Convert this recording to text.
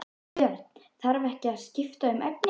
Björn: Þarf ekki að skipta um efni?